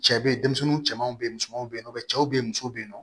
Cɛ be yen denmisɛnninw cɛmanw be ye musomanw be yen nɔ cɛw be yen musow be yen nɔ